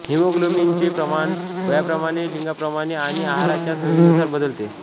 हिमोग्लोबिनचे प्रमाण वयाप्रमाणे लिंगाप्रमाणे आणि आहाराच्या सवयीनुसार बदलते